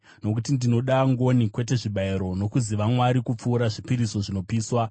Nokuti ndinoda ngoni, kwete zvibayiro, nokuziva Mwari kupfuura zvipiriso zvinopiswa.